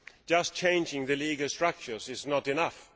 Just changing the legal structures is not enough.